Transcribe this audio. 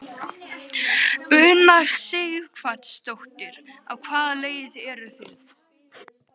Una Sighvatsdóttir: Á hvaða leið eru þið?